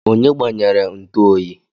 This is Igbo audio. Onye gbanyere ntu oyi?